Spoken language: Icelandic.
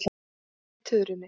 Hræri í tuðrunni.